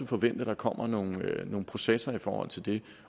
forvente at der kommer nogle processer i forhold til det